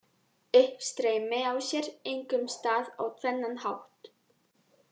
Uppstreymi á sér einkum stað á tvennan hátt: